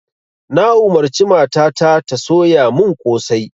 Na umarci mata ta ta soya mun kosai